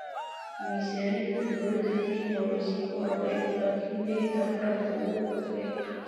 Miisaaniyadda dawladda Kenya way sii korodhay laakiin deynta qaranku way korodhay.